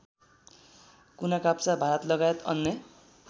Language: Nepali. कुनाकाप्चा भारतलगायत अन्य